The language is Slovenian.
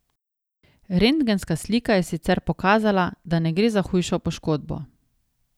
Rentgenska slika je sicer pokazala, da ne gre za hujšo poškodbo.